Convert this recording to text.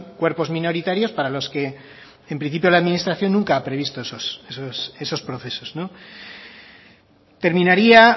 cuerpos minoritarios para los que en principio la administración nunca ha previsto esos procesos terminaría